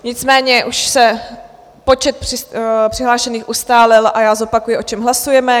Nicméně už se počet přihlášených ustálil a já zopakuji, o čem hlasujeme.